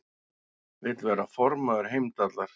Vill verða formaður Heimdallar